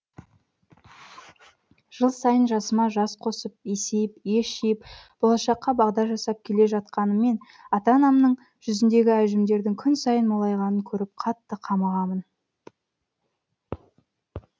жыл сайын жасыма жас қосып есейіп ес жиып болашаққа бағдар жасап келе жатқаныммен ата анамның жүзіндегі әжімдердің күн сайын молайғанын көріп қатты қамығамын